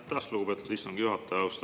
Aitäh, lugupeetud istungi juhataja!